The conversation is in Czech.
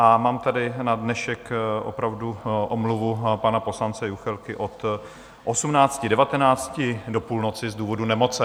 A mám tady na dnešek opravdu omluvu pana poslance Juchelky od 18.19 do půlnoci z důvodu nemoci.